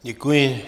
Děkuji.